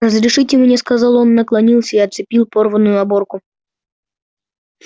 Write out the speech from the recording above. разрешите мне сказал он наклонился и отцепил порванную оборку